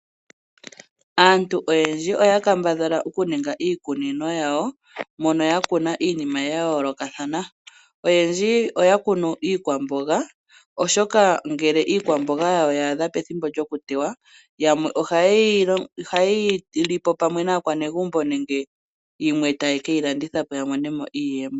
Aantu oyendji oya kambadhala okuninga iikunino yawo mono ya kuna iinima ya yoolokathana oyendji oya kunu iikwamboga oshoka ,ngele iikwamboga yawo ya adha ethimbo lyokuteya yamwe ohaye yi lipo pwame naakwanegumbo yimwe ta ye ke yi landitha po ya mone mo iiyemo.